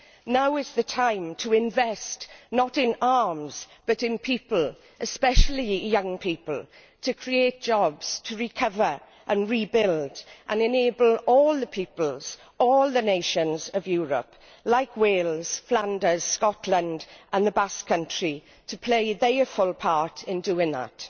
Now is the time to invest, not in arms, but in people, especially young people, to create jobs, recover and rebuild and enable all the peoples, all the nations of Europe, like Wales, Flanders, Scotland and the Basque country, to play their full part in doing that.